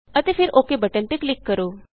ਅਤੇ ਫਿਰ OKਬਟਨ ਤੇ ਕਲਿਕ ਕਰੋ